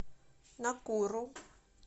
накуру